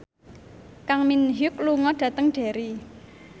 Kang Min Hyuk lunga dhateng Derry